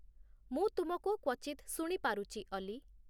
ମୁଁ ତୁମକୁ କ୍ଵଚିତ ଶୁଣିପାରୁଚି, ଅଲି